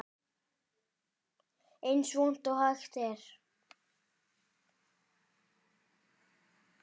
Eins vont og hægt er